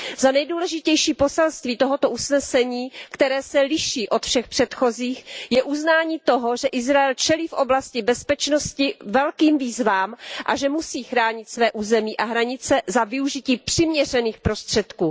Za nejdůležitější poselství tohoto usnesení, které se liší od všech předchozích, je uznání toho, že Izrael čelí v oblasti bezpečnosti velkým výzvám a že musí chránit své území a hranice za využití přiměřených prostředků.